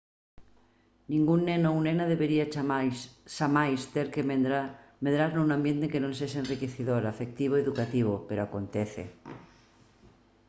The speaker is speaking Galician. ningún neno ou nena debería xamais ter que medrar nun ambiente que non sexa enriquecedor afectivo e educativo pero acontece